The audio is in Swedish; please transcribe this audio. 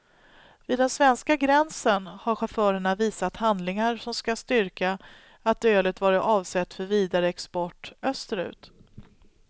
Vid den svenska gränsen har chaufförerna visat handlingar som ska styrka att ölet varit avsett för vidare export österut.